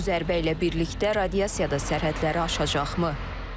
Bu zərbə ilə birlikdə radiasiya da sərhədləri aşacaqmı?